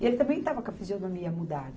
E ele também estava com a fisionomia mudada.